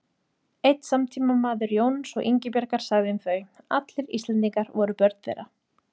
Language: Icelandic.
Einn samtímamaður Jóns og Ingibjargar sagði um þau: Allir Íslendingar voru börn þeirra